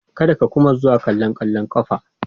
Kar ka kuma zuwa kallon kwallon kafa.